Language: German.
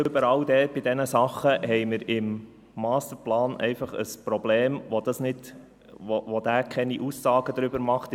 Überall dort, bei diesen Dingen haben wir im Masterplan einfach ein Problem, weil er keine Aussagen darüber macht.